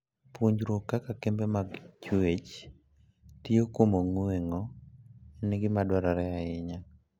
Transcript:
Puonjruok kaka kembe mag chwech tiyo kuom ong'weng'o en gima dwarore ahinya.